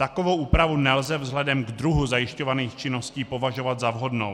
Takovou úpravu nelze vzhledem k druhu zajišťovaných činností považovat za vhodnou.